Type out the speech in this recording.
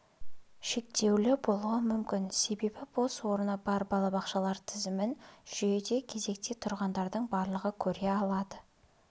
шектеулі болуы мүмкін себебі бос орны бар балабақшалар тізімін жүйеде кезекте тұрғандардың барлығы көре алады